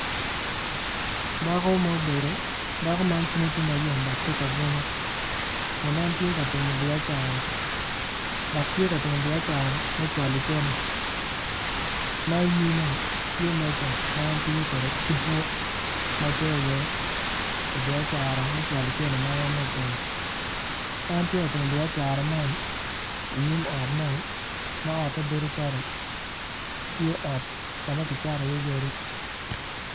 Dako ma obedo dako man cwinye tye ma yom dok tye ka bunyo kun en tye ka timo biacara dok tye ka timo biacara me cwalo cente ma iyinme tye meja ma en tiyo kwde ki buk ma coyo iye pi biacara me cwalo cente ma en nongo otimo en tye ka timo biacara man inyim ot mo ma otte bedo cal tye ot ka ma kicato iye yadi.